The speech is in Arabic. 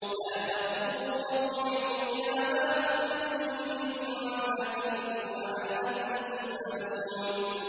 لَا تَرْكُضُوا وَارْجِعُوا إِلَىٰ مَا أُتْرِفْتُمْ فِيهِ وَمَسَاكِنِكُمْ لَعَلَّكُمْ تُسْأَلُونَ